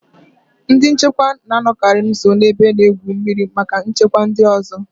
Ndị nchekwa na-anọkarị nso ebe a na-egwu mmiri maka nchekwa nke ndị ọzọ